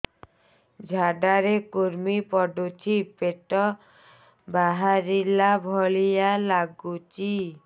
ଝାଡା ରେ କୁର୍ମି ପଡୁଛି ପେଟ ବାହାରିଲା ଭଳିଆ ଲାଗୁଚି